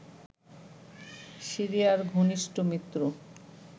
সিরিয়ার ঘনিষ্ট মিত্র